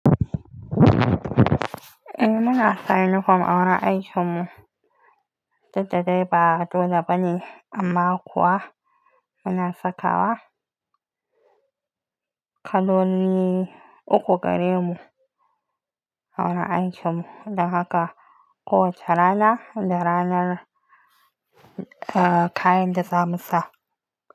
Eh muna sa uniform a wurin aikin mu, duk da dai ba dole bane amma kuwa muna saka wa kaloli uku gare mu a wurin aikin mu don haka kowacce rana da ranar eh kayan da za mu sa.